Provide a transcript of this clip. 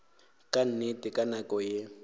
ka nnete ka nako ye